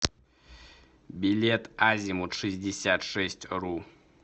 билет азимутшестьдесятшестьру